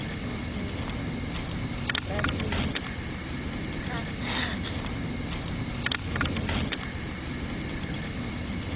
u o ekedza risithi kha